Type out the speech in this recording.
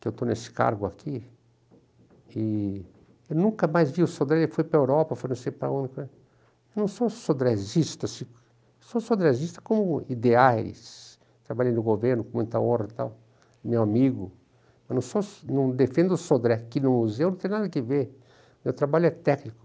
que eu estou nesse cargo aqui, e eu nunca mais vi o Sodré, ele foi para a Europa, foi não sei para onde, para, eu não sou sodresista, se sou sodresista como ideais, trabalhei no governo com muita honra e tal, meu amigo, eu sou so não defendo o Sodré, aqui no museu não tem nada a ver, meu trabalho é técnico.